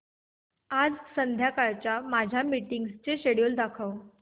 आज संध्याकाळच्या माझ्या मीटिंग्सचे शेड्यूल दाखव